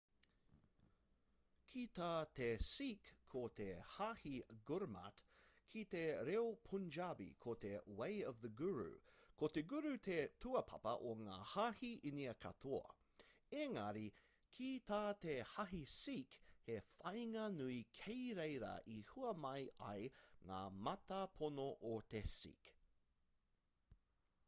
ki tā te sikh ko te hāhi gurmat ki te reo punjabi ko te way of the guru ko te guru te tūāpapa o ngā hāhi inia katoa engari ki tā te hāhi sikh he whāinga nui kei reira i hua mai ai ngā mātāpono o te sikh